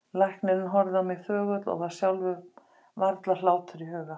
Læknirinn horfði á mig þögull og var sjálfum varla hlátur í huga.